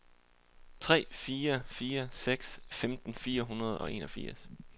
tre fire fire seks femten fire hundrede og enogfirs